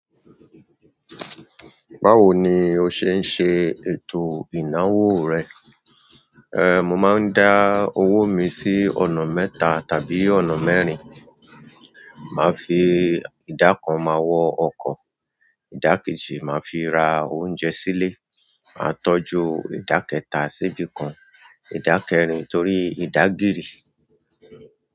Báwo ni o ṣe ń ṣe ètò ìnáwó rẹ? Ehn, mo máa ń dá owó mi sí ọ̀nà mẹ́ta tàbí ọ̀nà mẹ́rin. Màá fi idakan máa wọ ọkọ̀, ìdákẹ́jì màá fi ra oúnjẹ sílé, màá tọ́jú ìdákẹ́ta sibìkan, ìdákẹ́rìn torí ìdágiri.